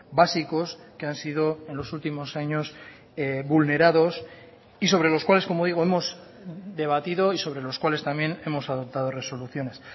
básicos que han sido en los últimos años vulnerados y sobre los cuales como digo hemos debatido y sobre los cuales también hemos adoptado resoluciones